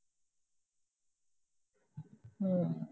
ਹਮ